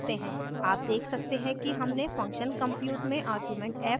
आप देख सकते हैं कि हमने function compute में आर्ग्यूमेंट f को passed किया है